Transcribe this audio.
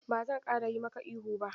Ba zan ƙara yi maka ihu ba.